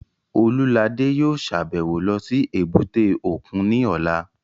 Olúladé yóò sàbẹ̀wo lọ sí èbúté òkun ní ọ̀la